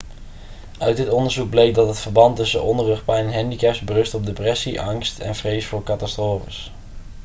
uit dit onderzoek bleek dat het verband tussen onderrugpijn en handicaps berust op depressie angst en vrees voor catastrofes